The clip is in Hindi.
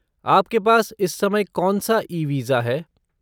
आपके पास इस समय कौनसा ई वीज़ा है?